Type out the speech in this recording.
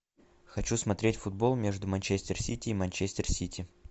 хочу смотреть футбол между манчестер сити и манчестер сити